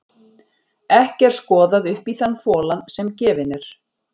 Ekki er skoðað upp í þann folann sem gefinn er.